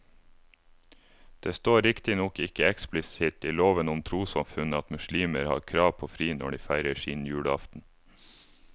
Det står riktignok ikke eksplisitt i loven om trossamfunn at muslimer har krav på fri når de feirer sin julaften.